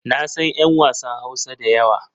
Na san 'yan wasan Hausa da yawa.